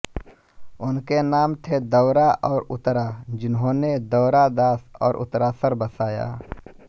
उनके नाम थे दौरा और उतरा जिन्होंने दोरादास और उतरासर बसाया